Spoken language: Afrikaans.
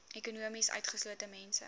ekonomies utgeslote mense